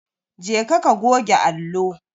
Jeka ka goge allo.